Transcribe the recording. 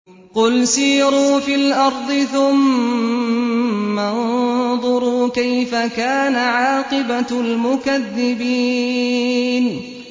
قُلْ سِيرُوا فِي الْأَرْضِ ثُمَّ انظُرُوا كَيْفَ كَانَ عَاقِبَةُ الْمُكَذِّبِينَ